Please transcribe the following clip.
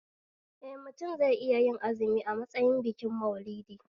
Eh mutum zai iya yin azumi a matsayin bikin Maulidi